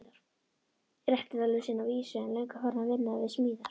Réttindalausan að vísu, en löngu farinn að vinna við smíðar.